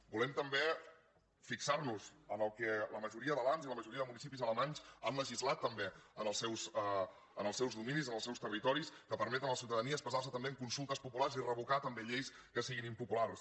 volem també fixar nos en el que la majoria de lands i la majoria de municipis alemanys han legislat també en els seus dominis en els seus territoris que permet a la ciutadania expressar se també en consultes populars i revocar també lleis que siguin impopulars